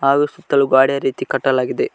ಅದು ಸುತ್ತಲು ಗ್ವಾದಡೆಯ ರೀತಿ ಕಟ್ಟಲಾಗಿದೆ.